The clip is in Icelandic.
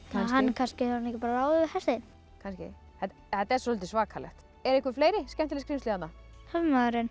kannski hefur hann bara ekki ráðið við hestinn þetta er soldið svakalegt eru einhver fleiri skemmtileg skrímsli þarna